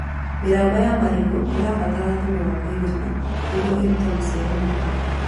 Mĩramba ya marigũ ĩbataraga thumu wa kũigana nĩguo ĩrute maciaro mega